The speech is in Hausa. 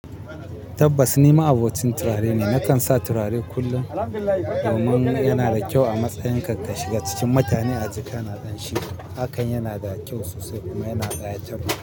Tabbas ni ma abocin tirare ne nakan sa tirare kullum amman yanada kyau a matsayin ka kashiga cikin mutane a ji kana kamshi. Hakan yana da kyau sosai kuma yana ɗaya taɓa.